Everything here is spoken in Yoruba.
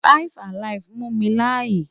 5 alive mu mi laaye